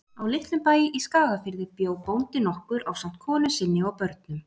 Á litlum bæ í Skagafirði bjó bóndi nokkur ásamt konu sinni og börnum.